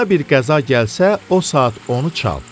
Başına bir qəza gəlsə, o saat onu çal.